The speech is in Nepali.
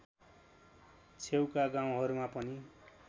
छेउका गाउँहरूमा पनि